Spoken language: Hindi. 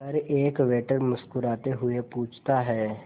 पर एक वेटर मुस्कुराते हुए पूछता है